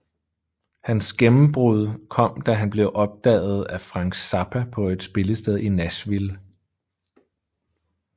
Hans gennembrud kom da han blev opdaget af Frank Zappa på et spillested i Nashville